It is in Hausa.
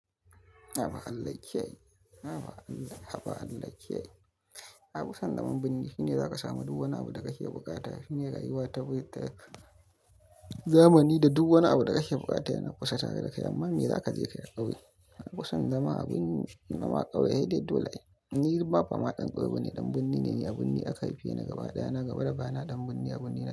Haba Allah ya kiyaye, haba Allah ya kiyaye. Haba Allah ya kiyaye. Nafi son zaman birni shine zaka samu duk wani abu da ka ke bukata. Shine rayuwa ta zamani da duk wani abu da ka ke bukata yana kusa tare da kai, amma me za ka je ka yi a kauye? Nafison zama a birni, zama a kauye sedai dai dole. Ni ma ba ma dan ƙauye bane, ɗan birni ne. A birni aka haifeni gaba ɗaya na gaba da baya na ɗan birni, a birni na.